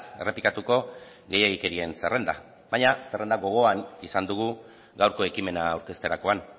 errepikatuko gehiegikerien zerrenda baina zerrenda gogoan izan dugu gaurko ekimena aurkezterakoan